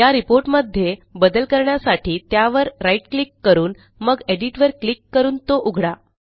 या Reportमध्ये बदल करण्यासाठी त्यावर राईट क्लिक करून मग एडिट वर क्लिक करून तो उघडा